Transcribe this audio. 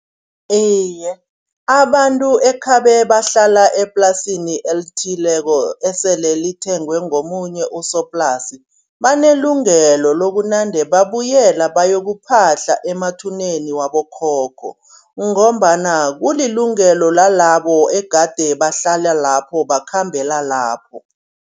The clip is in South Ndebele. Iye abantu ekhabe bahlala eplasini elithileko esele lithengwe ngomunye usoplasi. Banelungelo lokunande babuyela bayokuphahla emathuneni wabokhokho ngombana kulilungelo lalabo egade bahlala lapho bakhambela lapho.